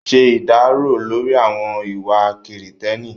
Ṣe ìdárò lórí àwọn ìwà kìrììtẹ́nì